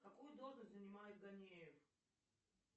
какую должность занимает ганеев